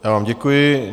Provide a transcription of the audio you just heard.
Já vám děkuji.